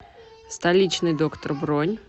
столичный доктор бронь